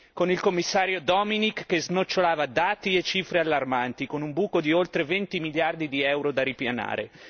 Con il Commissario Dominik che snocciolava dati e cifre allarmanti, con un buco di oltre 20 miliardi di euro da ripianare.